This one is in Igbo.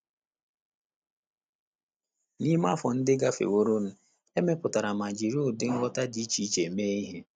N’ime afọ ndị gafeworo, e mepụtara ma jiri ụdị ngwọta dị iche iche mee ihe.